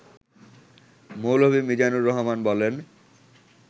মৌলভী মিজানুর রহমান বলেন